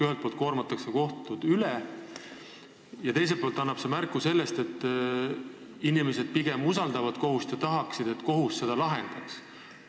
Ühelt poolt koormatakse kohtud üle, aga teiselt poolt annab see märku, et inimesed usaldavad kohut ja tahavad, et kohus nende küsimusi lahendaks.